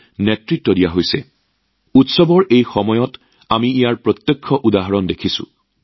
ইয়াৰ প্ৰত্যক্ষ উদাহৰণ আমি এই উৎসৱৰ বতৰত দেখিবলৈ পাইছো